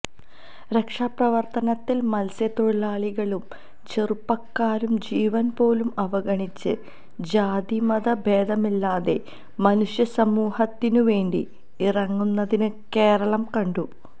രക്ഷാപ്രവർത്തനത്തിൽ മത്സ്യത്തൊഴിലാളികളും ചെറുപ്പക്കാരും ജീവൻപോലും അവഗണിച്ച് ജാതി മത ഭേദമില്ലാതെ മനുഷ്യ സമൂഹത്തിനു വേണ്ടി ഇറങ്ങുന്നത് കേരളം കണ്ടു